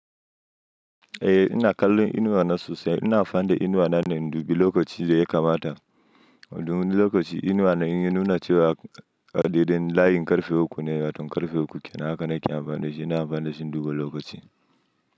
Eh ina kallon inuwa na sosai, ina amfani da inuwa na ne indubu lokaci da ya kamata. Wani lokaci inuwa na inya nuna cewa adadin layin ƙarfe uku ne, waton ƙarfe uku kenan haka nake amfani dashi ina amfani da shi induba lokaci.